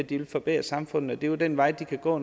de vil forbedre samfundet det er jo den vej de kan gå